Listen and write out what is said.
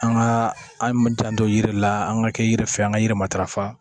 An ka an janto yiri la an ka kɛ yiri fɛ an ka yiri matarafa